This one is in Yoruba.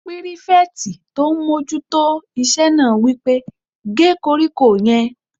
Pírífẹ̀tì tó n mójú tó iṣẹ́ náà wí pé "gé koríko yẹn!"